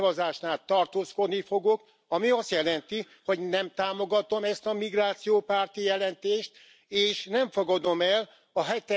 A végszavazásnál tartózkodni fogok, ami azt jelenti, hogy nem támogatom ezt a migrációpárti jelentést, és nem fogadom el a